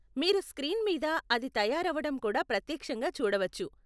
మీరు స్క్రీన్ మీద అది తయారవడం కూడా ప్రత్యక్షంగా చూడవచ్చు.